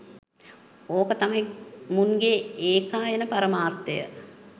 ඕක තමයි මුන්ගේ ඒකායන පරමාර්ථය